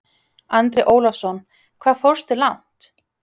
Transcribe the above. Andri Ólafsson: Hvað fórstu langt?